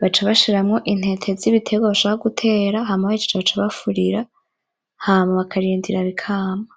baca bashiramwo intete zibiterwa bashaka gutera hama bahejeje baca bafurira, hama bakarindira bikama.